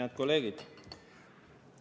Head kolleegid!